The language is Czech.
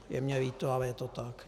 Je mi líto, ale je to tak.